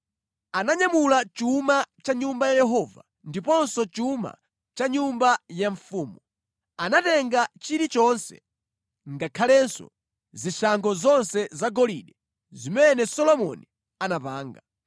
Ananyamula chuma cha ku Nyumba ya Yehova ndiponso chuma cha ku nyumba ya mfumu. Anatenga chilichonse, ngakhalenso zishango zonse zagolide zimene Solomoni anapanga.